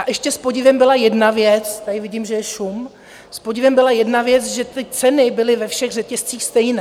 A ještě s podivem byla jedna věc - tady vidím, že je šum - s podivem byla jedna věc, že ty ceny byly ve všech řetězcích stejné.